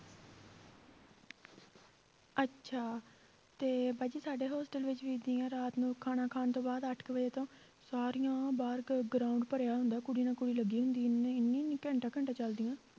ਅੱਛਾ ਤੇ ਬਾਜੀ ਸਾਡੇ hostel ਵਿੱਚ ਵੀ ਏਦਾਂ ਹੀ ਆਂ ਰਾਤ ਨੂੰ ਖਾਣਾ ਖਾਣ ਤੋਂ ਬਾਅਦ ਅੱਠ ਕੁ ਵਜੇ ਤੋਂ ਸਾਰੀਆਂ ਬਾਹਰ ਗ~ ground ਭਰਿਆ ਹੁੰਦਾ, ਕੁੜੀ ਨਾ ਕੋਈ ਲੱਗੀ ਹੁੰਦੀ ਆ ਘੰਟਾ ਘੰਟਾ ਚੱਲਦੀਆਂ